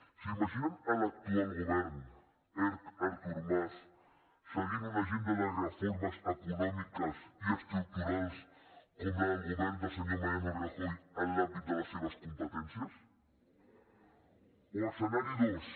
s’imaginen l’actual govern erc artur mas seguint una agenda de reformes econòmiques i estructurals com la del govern del senyor mariano rajoy en l’àmbit de les seves competències o escenari dos